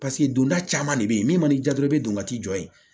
paseke don da de be yen min ma ni ja dɔrɔn i be don ka t'i jɔ yen